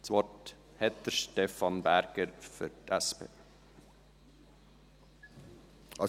Das Wort hat Stefan Berger für die SP.